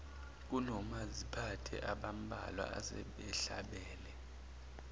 kunomaziphathe abambalwa asebehlabele